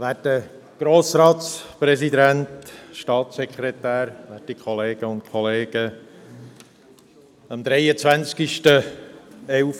Der Regierungsrat ist aufgefordert, Offenlegungsregeln für Beiträge ab Fr. 10 000.— für die Politikfinanzierung (Zuwendungen an Parteien sowie für Abstimmungs- und Wahlkampagnen) auszuarbeiten und dem Grossen Rat vorzulegen.